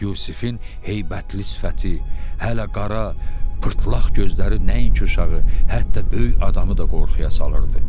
Yusifin heybətli sifəti, hələ qara pırtlaq gözləri nəinki uşağı, hətta böyük adamı da qorxuya salırdı.